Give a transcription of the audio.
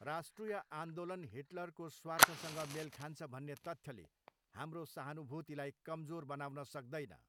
राष्ट्रिय आन्दोलन हिटलरको स्वार्थसँग मेल खान्छ भन्ने तथ्यले हाम्रो सहानुभूतिलाई कमजोर बनाउन सक्दैन।